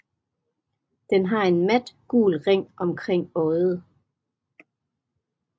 Den har en mat gul ring omkring øjet